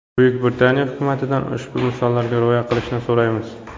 Buyuk Britaniya hukumatidan ushbu misollarga rioya qilishni so‘raymiz.